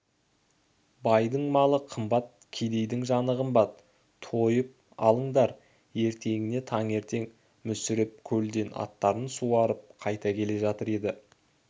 байдың малы қымбат кедейдің жаны қымбат тойып алыңдар ертеңіне таңертең мүсіреп көлден аттарын суарып қайтып келе жатыр еді